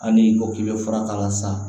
A ni ko k'i bɛ fura k'a la sa